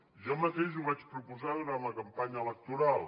jo mateix ho vaig proposar durant la campanya electoral